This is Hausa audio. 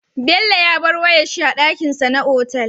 Bello ya bar wayar shi a dakin sa na otal